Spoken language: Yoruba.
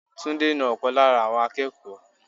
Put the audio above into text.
Túndé na ọ̀kan lára àwọn akẹ́kọ̀ọ́.